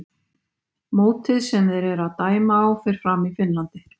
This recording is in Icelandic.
Mótið sem þeir eru að dæma á fer fram í Finnlandi.